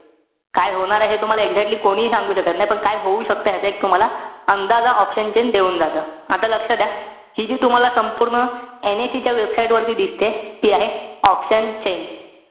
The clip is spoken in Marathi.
काय होणार आहे हे तुम्हाला exactly कोणीही सांगू शकत नाई. पण काय होऊ शकतं, ह्याचा एक तुम्हाला अंदाजा option chain देऊन जात. आता लक्ष द्या. हि जी तुम्हाला संपूर्ण NIC च्या website वरती दिसतेय, ती आहे option chain.